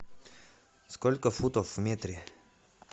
сколько футов в метре